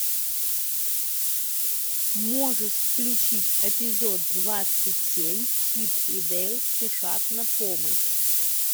можешь включить эпизод двадцать семь чип и дейл спешат на помощь